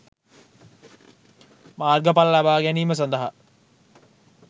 මාර්ගඵල ලබා ගැනීම සඳහා